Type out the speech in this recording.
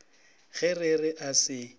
ge re re a se